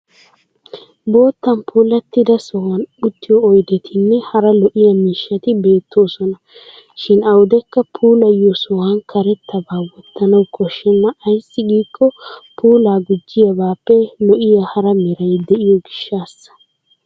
Boottan puulattida sohuwan uttiyo oydettinne hara lo'iya miishshati beettoosona, Shin awudekka puulayiyo sohuwan karettaba wottanawu koshshenna ayssi giikko puulaa gujjiyabaapee lo'iya hara meray diyo gishshassa.